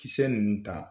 Kisɛ ninnu ta